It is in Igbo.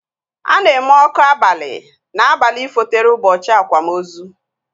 Ana eme ọkụ abali na abalị fotere ụbọchị akwamozu